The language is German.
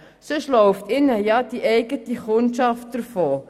Sonst läuft ihnen ja die eigene Kundschaft davon.